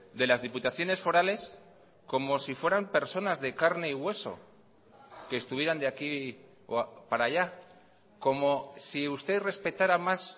de las diputaciones forales como si fueran personas de carne y hueso que estuvieran de aquí para allá como si usted respetara más